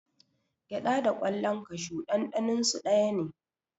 Gyaɗa da ƙwallan kashu ɗanɗaninsu daya ne.